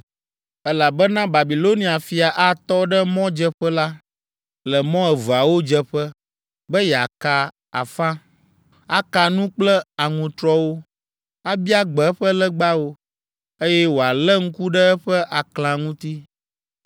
elabena Babilonia fia atɔ ɖe mɔdzeƒe la, le mɔ eveawo dzeƒe, be yeaka afa. Aka nu kple aŋutrɔwo, abia gbe eƒe legbawo, eye wòalé ŋku ɖe eƒe aklã ŋuti.